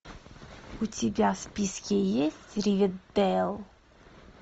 у тебя в списке есть ривердейл